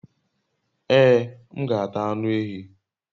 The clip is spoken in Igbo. Ee, m g'ata anu ehi